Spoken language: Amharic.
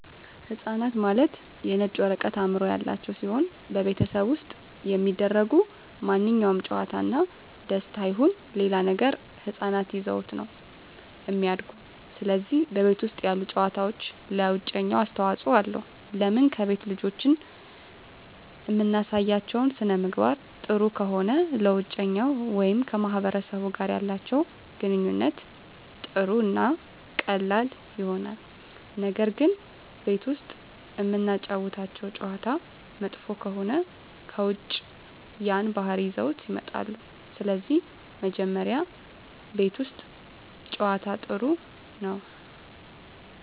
ህፃናት ማለት የነጭ ወረቀት አዕምሮ ያላቸው ሲሆን በቤተሠብ ውስጥ የሚደሰጉ ማንኛውም ጨዋታ እና ደስታ ይሁን ሌላ ነገር ህፃናት ይዘውት ነው እሚድጉ ስለዚህ በቤት ውስጥ ያሉ ጨዋታዎች ለውጨኛው አስተዋፅኦ አለው ለምን ከቤት ልጆችን እምናሳያቸው ሥነምግባር ጥሩ ከሆነ ለውጨኛው ወይም ከማህበረሰቡ ጋር ያላቸው ግንኙነት ጥሩ እና ቀላል ይሆናል ነገር ግን ቤት ውስጥ እምናጫውታቸው ጨዋታ መጥፎ ከሆነ ከውጭ ያን ባህሪ ይዘውት ይወጣሉ ስለዚህ መጀመሪ ቤት ውስት ጨዋታ ጥሩ ነው